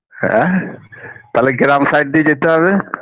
হ্যাঁ তালে গ্রাম side দিয়ে যেতে হবে